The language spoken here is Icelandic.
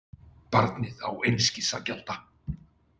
Barnið á einskis að gjalda.